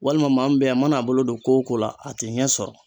Walima maa min bɛ yan a mana a bolo don ko o ko la a tɛ ɲɛ sɔrɔ.